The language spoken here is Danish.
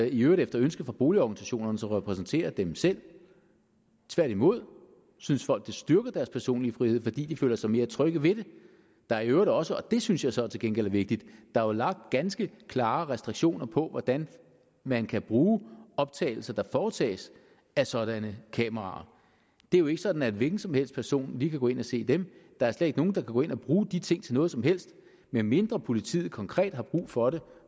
i øvrigt efter ønske fra boligorganisationerne som repræsenterer dem selv tværtimod synes folk det styrker deres personlige frihed fordi de føler sig mere trygge ved det der er i øvrigt også og det synes jeg så til gengæld er vigtigt lagt ganske klare restriktioner på hvordan man kan bruge optagelser der foretages af sådanne kameraer det er jo ikke sådan at en hvilken som helst person lige kan gå ind og se dem der er slet ikke nogen der kan gå ind og bruge de ting til noget som helst medmindre politiet konkret har brug for det